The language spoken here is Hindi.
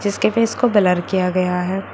इसके फेस को ब्लर किया गया है।